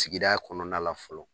Sigida kɔnɔna la fɔlɔ